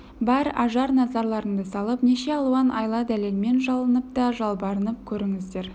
бар ажар назарларыңды салып неше алуан айла дәлелмен жалынып та жалбарынып көрдіңіздер